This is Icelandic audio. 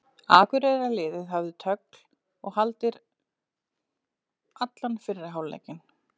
Akureyrarliðið hafði tögl og haldir allan fyrri hálfleikinn.